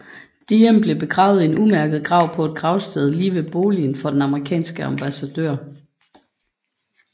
Diệm blev begravet i en umærket grav på et gravsted lige ved boligen for den amerikanske ambassadør